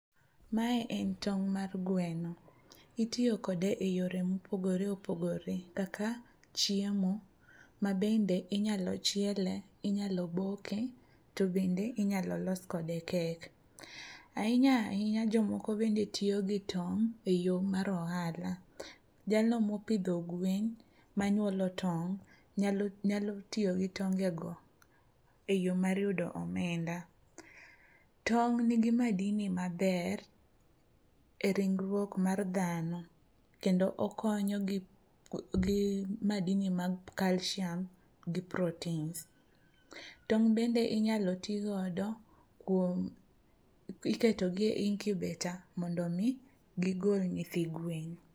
Mae en tong' mar gweno, itiyo kode e yore mopogore opogore kaka chiemo mabende inyalo chiele, inyalo boke to bende inyalo los kode kek. Ahinya ahinya jomoko bende tiyo gi tong' e yo mar ohala. Jalno mopidho gwen manyuolo tong' nyalo tiyo gi tongego e yo mar yudo omenda. Tong' nigi madini maber e ringruok mar dhano kendo okonyo gi madini mag kalshiam gi proteins. Tong' bende inyalo ti godo iketo gi e incubator mondo gigol nyithi gwen.